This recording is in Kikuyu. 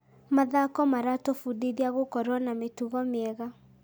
Mathako maratũbundithia gũkorwo na mĩtugo mĩega.